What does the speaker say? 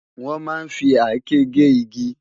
Wòn má n fi àké gé igi